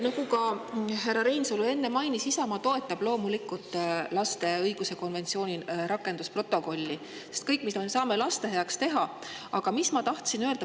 Nagu ka härra Reinsalu enne mainis, siis Isamaa toetab loomulikult lapse õiguste konventsiooni protokolliga selle kõige pärast, mida me saame laste heaks teha.